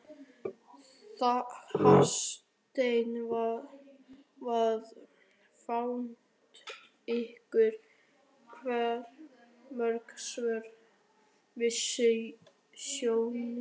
Hafsteinn: Hvað finnst ykkur vera svona verst við snjóinn?